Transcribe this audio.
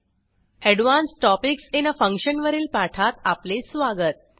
advance topics in आ function वरील पाठात आपले स्वागत